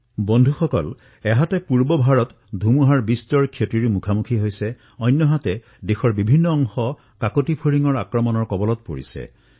বন্ধুসকল এফালে যত পূব ভাৰতে ধুমুহাৰ সন্মুখীন হবলগীয়া হৈছে আনটো ফালে দেশৰ বহু অংশ লকটাছৰ আক্ৰমণৰ দ্বাৰা প্ৰভাৱান্বিত হৈছে